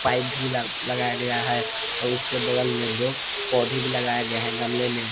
भी ल लगाया गया है और उसके बगल मे दो पौधे भी लगाए गए है गमले में।